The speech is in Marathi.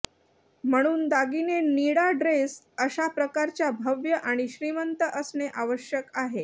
म्हणून दागिने निळा ड्रेस अशा प्रकारच्या भव्य आणि श्रीमंत असणे आवश्यक आहे